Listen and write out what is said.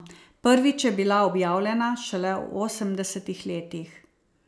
Prvič je bila objavljena šele v osemdesetih letih.